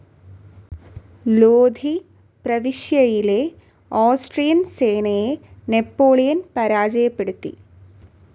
ലോധി പ്രവിശ്യയിലെ ഓസ്ട്രിയൻ സേനയെ നാപ്പോളിയൻ പരാജയപ്പെടുത്തി.